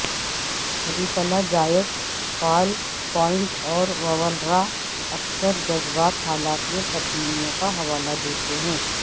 ریفلاجائک فعل پونڈ اور وولرا اکثر جذباتی حالت میں تبدیلیوں کا حوالہ دیتے ہیں